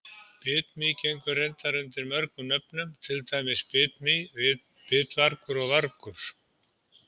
Bitmý gengur reyndar undir nokkrum nöfnum, til dæmis bitmý, bitvargur og vargur.